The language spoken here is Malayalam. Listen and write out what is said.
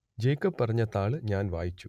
ജേക്കബ് പറഞ്ഞ താൾ ഞാൻ വായിച്ചു